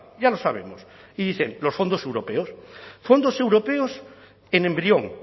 ya lo sabemos y dicen los fondos europeos fondos europeos en embrión